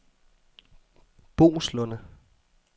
Boeslunde